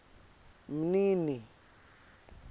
mnini